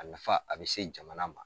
A nafa a bɛ se jamana ma